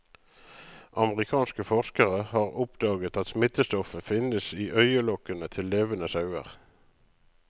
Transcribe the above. Amerikanske forskere har oppdaget at smittestoffet finnes i øyelokkene til levende sauer.